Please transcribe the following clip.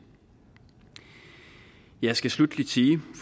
jeg skal sluttelig sige